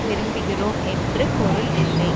விரும்புகிறோம் என்று பொருள் இல்லை